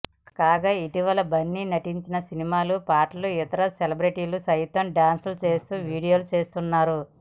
కాగా ఇటీవల బన్నీ నటించిన సినిమా పాటలకు ఇతర సెలబ్రిటీలు సైతం డ్యాన్స్ చేస్తూ వీడియోలు తీస్తున్నారు